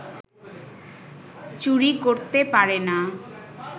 চুরি করতে পারে না